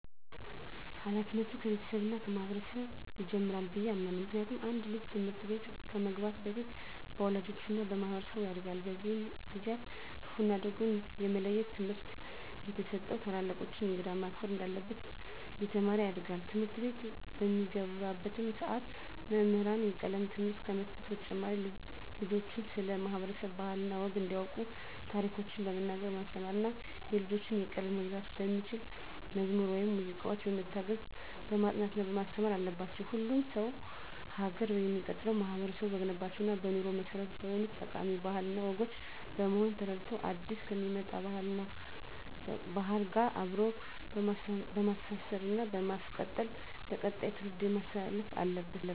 ሀላፊነቱ ከቤተሰብ እና ከማህበረሰብ ይጀምራል ብየ አምናለሁ። ምክንያቱም አንድ ልጅ ትምህርት ቤት ከመግባቱ በፊት በወላጆቹ እና በማህበረሰቡ ያጋድል። በእነዚህ ጊዜአትም ክፋ እና ደጉን የመለየት ትምህርት እየተሰጠው ታላላቆቹን፣ እንግዳን ማክበር እንዳለበት እየተማረ ያድጋል። ትምህርትቤት በሚገባባትም ሰዓት መምህራን የቀለም ትምህርትን ከመስጠት በተጨማሪ ልጆችን ስለ ማህበረሰብ ባህል እና ወግ እንዲያቁ ታሪኮችን በመናገር በማስተማር እና የልጆችን ቀልብ መግዛት በሚችሉ መዝሙር ወይም ሙዚቃዎች በመታገዝ በማስጠናት ማስተማር አለባቸው። ሁሉም ሰው ሀገር የሚቀጥለው ማህበረቡ በገነባቸው እና በኑሮ መሰረት በሆኑት ጠቃሚ ባህል እና ወጎች በመሆኑን ተረድቶ አዲስ ከሚመጣ ባህል ጋር አብሮ በማስተሳሰር እና በማስቀጠል ለቀጣይ ትውልድ ማስተላለፍ አለበት።